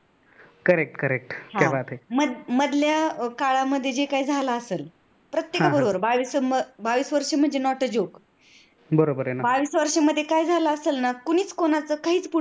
मध्यल्या काळामध्ये जे काय झाल असेल प्रत्येकाबरोबर बावीस वर्षे म्हणजे Not a Joke बावीस वर्ष्यामध्ये काय झाल असेल न कोणीच कोणाच काहीच पुढे